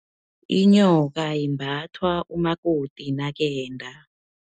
Inyoka, imbathwa umakoti nakenda.